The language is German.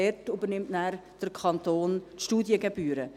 Dort übernimmt der Kanton die Studiengebühren.